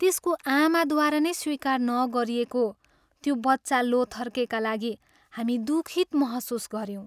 त्यसको आमाद्वारा नै स्वीकार नगरिएको त्यो बच्चा लोथर्केका लागि हामी दुखित महसुस गऱ्यौँ।